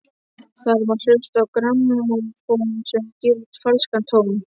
Þar má hlusta á grammófón sem að gefur falskan tón.